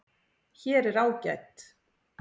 Hér er ágæt